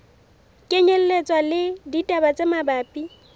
kenyelletswa le ditaba tse mabapi